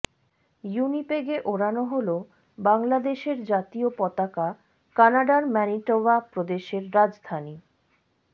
উইনিপেগে ওড়ানো হলো বাংলাদেশের জাতীয় পতাকাকানাডার ম্যানিটোবা প্রদেশের রাজধানী